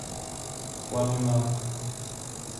ламинат